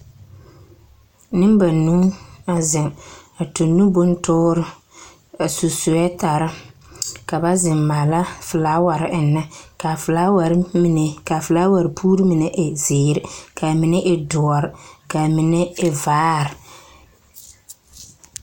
Nembanuu a zeŋ, a tuŋ nu bontoor, a su soɛtare ka ba zeŋ maala folaware ennɛ. K'a folaware mine ka folaware puur mine e zeere, k'a mine e doɔr, k'a mine e vaar.